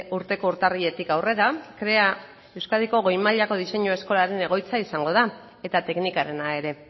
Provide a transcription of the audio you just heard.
urteko urtarriletik aurrera krea euskadiko goi mailako diseinu eskolaren egoitza izango da eta teknikarena ere